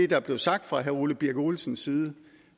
der blev sagt fra herre ole birk olesens side